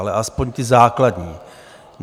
Ale aspoň ta základní.